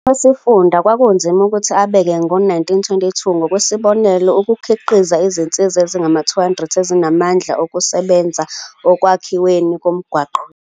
UKhomishani wesiFunda kwakunzima ukuthi abeke ngo-1922 ngokwesibonelo ukukhiqiza izinsizwa ezingama-200 ezinamandla okuzosebenza ekwakhiweni komgwaqo wendawo.